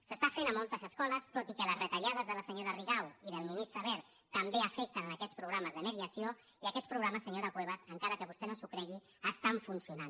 s’està fent a moltes escoles tot i que les retallades de la senyora rigau i del ministre wert també afecten en aquests programes de mediació i aquests programes senyora cuevas encara que vostè no s’ho cregui estan funcionant